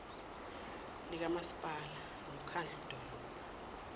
likamasipala nomkhadlu dolobha